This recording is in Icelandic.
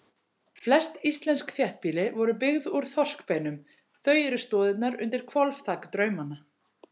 Flest íslensk þéttbýli voru byggð úr þorskbeinum, þau eru stoðirnar undir hvolfþak draumanna.